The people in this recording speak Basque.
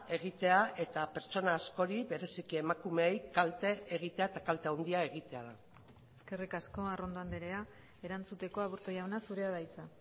egitea eta pertsona askori bereziki emakumeei kalte egitea eta kalte handia egitea da eskerrik asko arrondo andrea erantzuteko aburto jauna zurea da hitza